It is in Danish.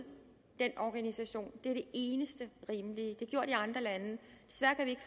den organisation det det eneste rimelige